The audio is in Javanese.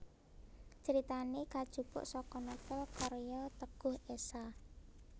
Critane kajupuk saka novel karya Teguh Esha